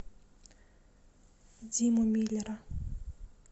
диму миллера